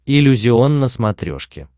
иллюзион на смотрешке